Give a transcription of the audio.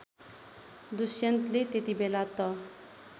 दुष्यन्तले त्यतिबेला त